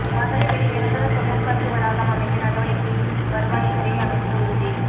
மதுரையில் நிரந்தர தொழிற்காட்சி வளாகம் அமைக்க நடவடிக்கைவருவாய்த் துறை அமைச்சா் உறுதி